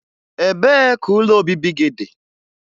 Ebee ka ụlọ obibi gị dị?